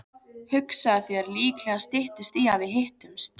Hugsaðu þér, líklega styttist í að við hittumst.